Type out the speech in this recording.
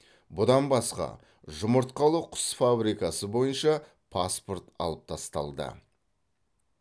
бұдан басқа жұмыртқалы құс фабрикасы бойынша паспорт алып тасталды